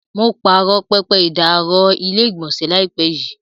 Mo pààrọ̀ pẹpẹ ìdáàrọ̀ ilé-ìgbọ̀nsẹ̀ láìpẹ́ yìí.